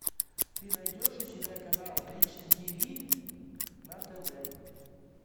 ты найдешь у себя канал бридж тв на тв